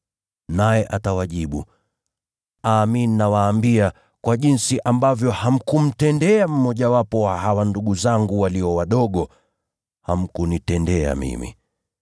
“Naye atawajibu, ‘Amin nawaambia, kwa jinsi ambavyo hamkumtendea mmojawapo wa hawa ndugu zangu walio wadogo, hamkunitendea mimi.’